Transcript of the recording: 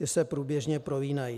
Ty se průběžně prolínají.